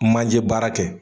Manjɛ baara kɛ.